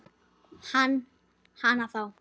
Hana þá.